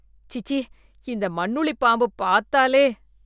சீசீ! இந்த மண்ணுளி பாம்பு பார்த்தாலே